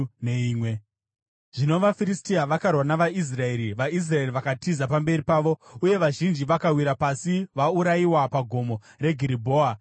Zvino vaFiristia vakarwa navaIsraeri; vaIsraeri vakatiza pamberi pavo, uye vazhinji vakawira pasi vaurayiwa paGomo reGiribhoa.